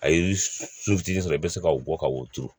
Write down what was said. A ye so fitinin sɔrɔ i be se ka wo bɔ ka wo turu